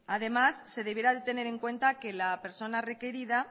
además se deberá de tener en cuenta que la persona requerida